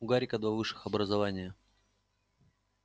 у гарика два высших образования